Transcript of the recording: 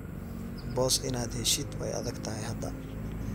Boss inad heshidh way aadagthy hada.